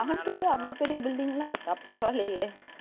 Coimbatore la , அவ்வளவு பெரிய building லாம் இருக்கா? பரவாயில்லையே